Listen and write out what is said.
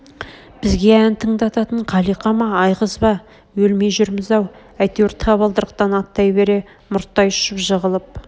бізге ән тыңдататын қалиқа ма айғыз ба өлмей жүрміз-ау әйтеуір табалдырықтан аттай бере мұрттай ұшып жығылып